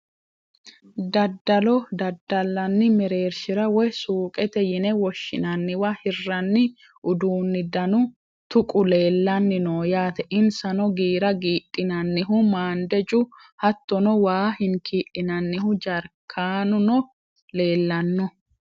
daddalo daddalanni mereershira woy suuqete yine woshshinanniwa hirranni uduunni danu tuqu leelanni no yaate. insano giira giidhinannihu maandeju hattono waa hinkii'linannihu jarkaanuno leelanno.